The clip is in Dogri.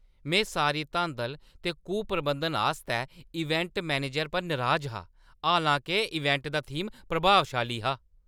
में सारी धांदल ते कुप्रबंधन आस्तै इवेंट मैनेजर पर नराज हा, हालां-के इवेंट दा थीम प्रभावशाली हा।